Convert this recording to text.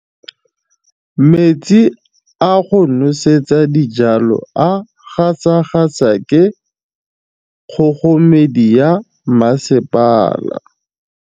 Metsi a go nosetsa dijalo a gasa gasa ke kgogomedi ya masepala.